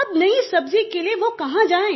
अब नयी सब्ज़ी के लिए वह कहाँ जाये